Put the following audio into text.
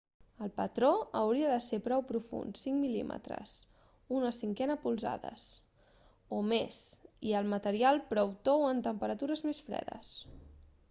el patró hauria de ser prou profund 5 mm 1/5 polzades o més i el material prou tou en temperatures fredes